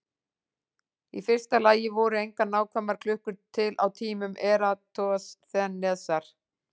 Í fyrsta lagi voru engar nákvæmar klukkur til á tímum Eratosþenesar.